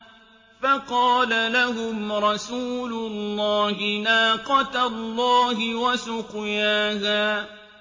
فَقَالَ لَهُمْ رَسُولُ اللَّهِ نَاقَةَ اللَّهِ وَسُقْيَاهَا